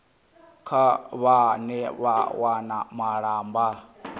kha vhane vha wana malamba